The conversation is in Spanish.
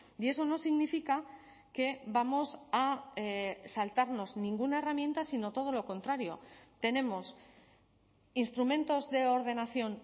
y eso no significa que vamos a saltarnos ninguna herramienta sino todo lo contrario tenemos instrumentos de ordenación